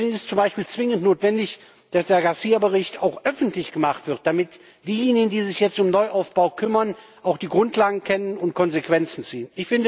Deswegen ist es zum Beispiel zwingend notwendig, dass der Garcia Bericht auch öffentlich gemacht wird, damit diejenigen, die sich jetzt um Neuaufbau kümmern, auch die Grundlagen kennen und Konsequenzen ziehen.